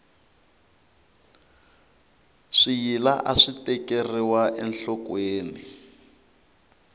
swiyila aswi tekeriwa enhlokweni